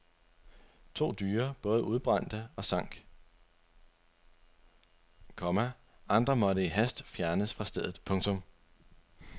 To dyre både udbrændte og sank, komma andre måtte i hast fjernes fra stedet. punktum